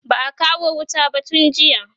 ba'a kawo wuta ba tun jiya